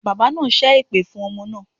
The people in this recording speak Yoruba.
Bàbá naa sẹ́ èpè fún ọmọ naa